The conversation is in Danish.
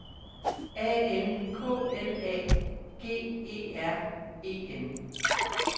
A N K L A G E R E N